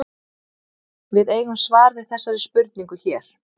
Við eigum svar við þessari spurningu hér.